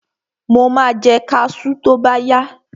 Mo ma jẹ kaṣú tóbáyá.